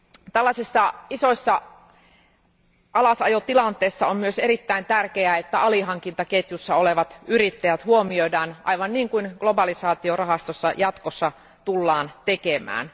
Tällaisissa isoissa alasajotilanteissa on myös erittäin tärkeää, että alihankintaketjussa olevat yrittäjät huomioidaan aivan niin kuin globalisaatiorahastossa jatkossa tullaan tekemään.